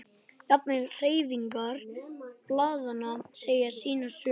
Jafnvel hreyfingar blaðanna segja sína sögu.